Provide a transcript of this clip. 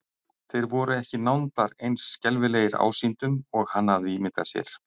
Þeir voru ekki nándar eins skelfilegir ásýndum og hann hafði ímyndað sér.